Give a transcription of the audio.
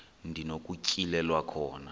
ndi nokutyhilelwa khona